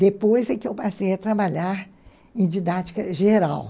Depois é que eu passei a trabalhar em didática geral.